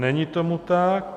Není tomu tak.